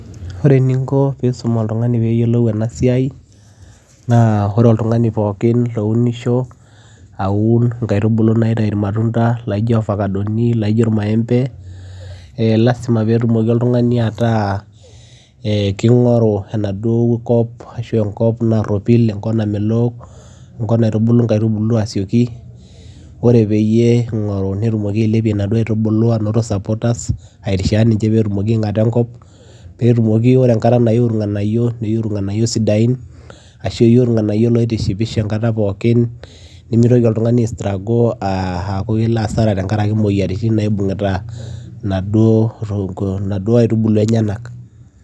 ore eninko pisum oltung'ani peyiolou ena siai naa ore oltung'ani pokin lounisho aun inkaitubulu naitai irmatunda laijo ofakadoni laijo irmaembe eh lasima petumoki oltung'ani ataa eh king'oru enaduo kop ashu enkop narropil enkop namelok enkop naitubulu inkaitubulu asioki ore peyie ing'oru netumoki ailepie inaduo aitubulu anoto supporters airishaa ninche petumoki aing'ata enkop petumoki ore enkata nayu irng'anayio neyu irng'anayio sidain ashu eyu irnganayio loitishipisho enkata pokin nemitoki oltung'ani ae struggle aaku kelo asara tenkarake imoyiaritin naibuung'ita inaduo to inaduo aitubulu enyenak.